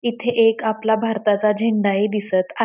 इथे एक आपला भारताचा झेंडा ही दिसत आ --